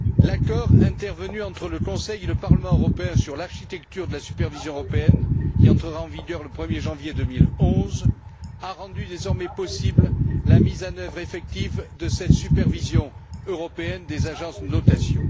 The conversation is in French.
L'accord intervenu entre le Conseil et le Parlement européen sur l'architecture de la supervision européenne, qui entrera en vigueur le 1er janvier 2011, a rendu désormais possible la mise en œuvre effective de cette supervision européenne des agences de notation.